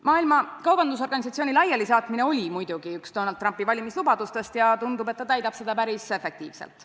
Maailma Kaubandusorganisatsiooni laialisaatmine oli muidugi üks Donald Trumpi valimislubadustest ja tundub, et ta täidab seda päris efektiivselt.